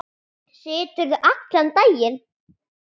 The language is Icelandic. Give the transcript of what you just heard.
Siturðu allan daginn?